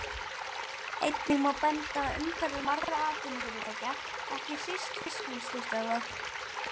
Einnig má benda á umhverfi margra atvinnufyrirtækja, ekki síst fiskvinnslustöðva.